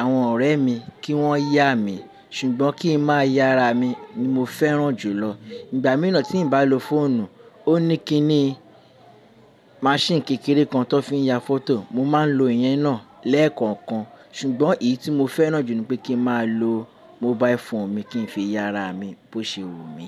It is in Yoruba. àwọn ọ̀rẹ́ mi kí wọ́n yá mi ṣùgbọ́n kí n má ya ara mi ni mo fẹ́ràn jùlọ. Ìgbà míràn tí n bá lo fóònù, ó ní kíní. Maṣíìnì kékeré kan tó fi ń ya fótò, mo máa ń lo ìyẹn náà lẹ́ẹ̀kọ̀ọ̀kan ṣùgbọ́n èyí tí mo fẹ́ràn jù ni pé kí n má a lo. Mobile phone mi kí n fi ya ara mi bó ṣe wù mí.